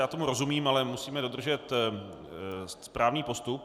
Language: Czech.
Já tomu rozumím, ale musíme dodržet správný postup.